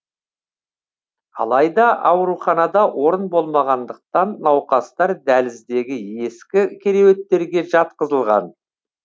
алайда ауруханада орын болмағандықтан науқастар дәліздегі ескі кереуеттерге жатқызылған